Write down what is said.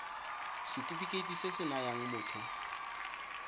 setefikeiti se se nayang motho